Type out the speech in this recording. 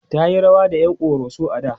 tayi rawa da ƴan koroso a da